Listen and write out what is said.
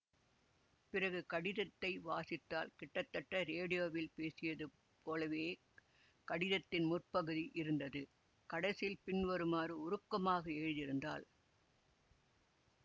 பிறகு கடிதத்தை வாசித்தாள் கிட்டத்தட்ட ரேடியோவில் பேசியது போலவே கடிதத்தின் முற்பகுதி இருந்தது கடைசியில் பின்வருமாறு உருக்கமாக எழுதியிருந்தார்